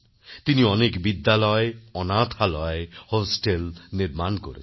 তিনি অনেক বিদ্যালয় অনাথালয় হোস্টেল নির্মাণ করেন